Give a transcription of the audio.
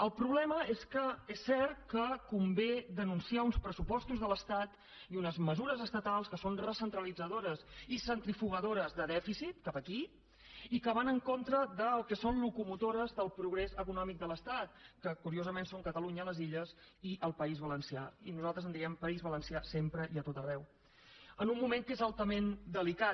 el problema és que és cert que convé denunciar uns pressupostos de l’estat i unes mesures estatals que són recentralitzadores i centrifugadores de dèficit cap aquí i que van en contra del que són locomotores del progrés econòmic de l’estat que curiosament són catalunya les illes i el país valencià i nosaltres en diem país valencià sempre i a tot arreu en un moment que és altament delicat